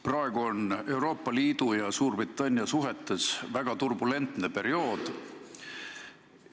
Praegu on Euroopa Liidu ja Suurbritannia suhetes väga turbulentne periood.